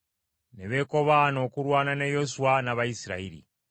ne beekobaana okulwana ne Yoswa n’Abayisirayiri.